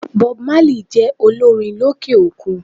Bob Marley jé olórin lókè òkun